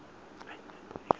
iriphablikhi